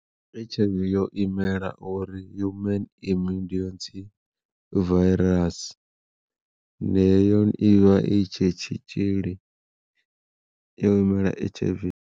H_I_V yo imela uri Human Immune Virus hone ivha i tshe tshitzhili yo imela H_I_V.